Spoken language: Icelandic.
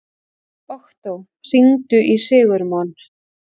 Októ, hringdu í Sigurmon.